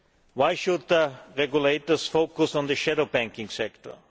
Why should regulators focus on the shadow banking sector?